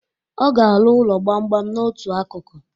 Ọ ga arụ ụlọ gbamgbam n'otu akụkụ.